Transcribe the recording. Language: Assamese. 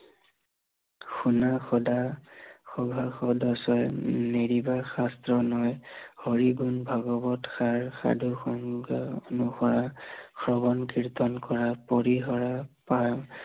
শুনা সদা সভাসদ ছয়, নেৰিবা শাস্ত্ৰৰ হৰি গুণ ভগৱত সাৰ, সাধু সংগ অনুসাৰ, শ্ৰৱন কীৰ্তন কৰা পৰি হৰ পাৰ